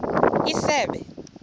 isebe